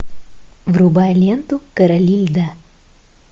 врубай ленту короли льда